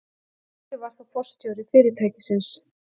Skúli var þá forstjóri fyrirtækisins.